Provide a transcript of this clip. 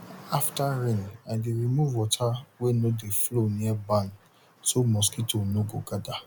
after rain i dey remove water wey nor de flow near barn so mosquito no go gather